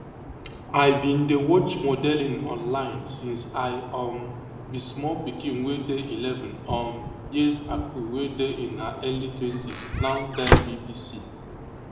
i bin dey watch modelling online since i um be small pikin wey dey eleven um years akul wey dey in her early twenties now tell bbc